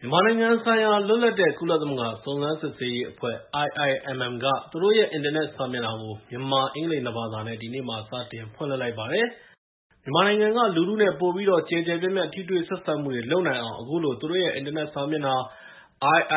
မြန်မာနိုင်ငံဆိုင်ရာ လွတ်လပ်တဲ့ ကုလသမဂ္ဂ စုံစမ်းစစ်ဆေးရေးအဖွဲ့ (IIMM) က သူတို့ရဲ့ အင်တာနက်စာမျက်နှာကို မြန်မာ အင်္ဂလိပ် နှစ်ဘာသာနဲ့ ဒီနေ့မှာ စတင်ဖွင့်လှစ်လိုက်ပါတယ်။ မြန်မာနိုင်ငံက လူထုနဲ့ ပိုပြီးတော့ ကျယ်ကျယ်ပြန့်ပြန့် ထိတွေ့ဆက်ဆံမှုတွေ လုပ်နိုင်အောင် အခုလို သူတို့ရဲ့ အင်တာနက်စာမျက်နှာ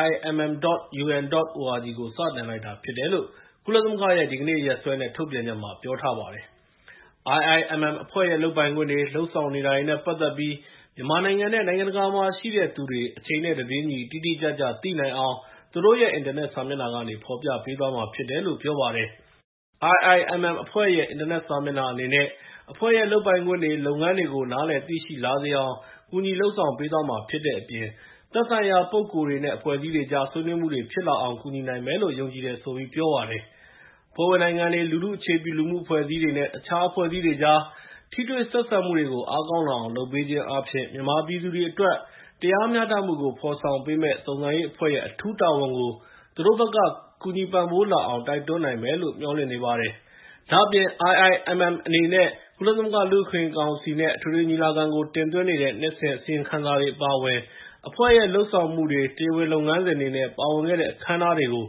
iimm.un.org ကို စတင်လိုက်တာဖြစ်တယ်လို့ ကုလသမဂ္ဂရဲ့ဒီကနေ့ရက်စွဲနဲ့ ထုတ်ပြန်ချက်မှာ ပြောထားပါတယ်။ IIMM အဖွဲ့ရဲ့လုပ်ပိုင်ခွင့်တွေ၊ လုပ်ဆောင်နေတာတွေနဲ့ပတ်သက်ပြီး မြန်မာနိုင်ငံနဲ့နိုင်ငံတကာမှာရှိတဲ့သူတွေ အချိန်နဲ့ တပြေးညီ တိတိကျကျ သိနိုင်အောင် သူတို့ရဲ့အင်တာနက်စာမျက်နှာကနေ ဖော်ပြပေးသွားမှာဖြစ်တယ်လို့ ပြောပါတယ်။ IIMM အဖွဲ့ရဲ့ အင်တာနက်စာမျက်နှာအနေနဲ့ အဖွဲ့ရဲ့လုပ်ပိုင်ခွင့်တွေ နဲ့ လုပ်ငန်းတွေကို နားလည်သိရှိလာစေအောင် ကူညီလုပ်ဆောင်ပေးသွားမှာဖြစ်တဲ့အပြင် သက်ဆိုင်ရာ ပုဂ္ဂိုလ်တွေနဲ့ အဖွဲ့အစည်းတွေကြား ဆွေးနွေးမှုတွေ ဖြစ်လာအောင် ကူညီနိုင်မယ်လို့ ယုံကြည်တယ်လို့ ပြောပါတယ်။ အဖွဲ့ဝင်နိုင်ငံတွေ၊ လူထုအခြေပြု လူမှုအဖွဲအစည်းတွေနဲ့ တခြားအဖွဲ့အစည်းတွေကြား ထိတွေ့ဆက်ဆံမှုတွေကို အားကောင်းလာအောင်လုပ်ပေးခြင်းအားဖြင့် မြန်မာပြည်သူတွေအတွက် တရားမျှတမှုကို ဖော်ဆောင်ပေးမယ့် စုံစမ်းရေးအဖွဲ့ရဲ့ အထူးတာဝန်ကို သူတို့ဘက်က ကူညီပံ့ပိုးလာအောင် တိုက်တွန်းနိုင်မယ်လို့ မျှော်လင့်နေပါတယ်။ ဒါ့အပြင် IIMM အနေနဲ့ ကုလသမဂ္ဂလူ့အခွင့်အရေးကောင်စီနဲ့ အထွေထွေညီလာခံကို တင်သွင်းနေတဲ့ နှစ်စဉ်အစီရင်ခံစာတွေ အပါအဝင် အဖွဲ့ရဲ့ လုပ်ဆောင်မှုတွေ၊ တရားဝင်လုပ်ငန်းစဉ်တွေ နဲ့ ပါဝင်ခဲ့တဲ့ အခမ်းအနားတွေကို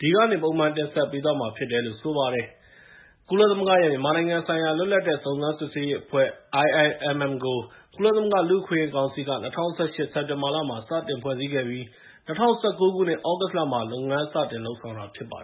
ဒီကနေ ပုံမှန်တင်ဆက်ပေးသွားမှာဖြစ်တယ်လို့ ဆိုပါတယ်။ ကုလသမဂ္ဂရဲ့ မြန်မာနိုင်ငံဆိုင်ရာ လွတ်လပ်တဲ့စုံစမ်းစစ်ေဆေးရေးအဖွဲ့ (IIMM) ကို ကုလသမဂ္ဂလူ့အခွင့်အရေးကောင်စီက ၂၀၁၈ စက်တင်ဘာလမှာ စတင်ဖွဲ့စည်းခဲ့ပြီး ၂၀၁၉ ခုနှစ်၊ သြဂုတ်လမှာ လုပ်ငန်းစတင်လုပ်ဆောင်လာတာ ဖြစ်ပါတယ်